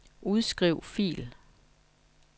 Udskriv fil.